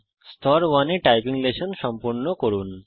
স্তর 1 এ typing session সম্পূর্ণ করুন